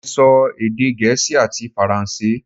Mo lè sọ èdè gẹ̀ẹ́sì ati faransé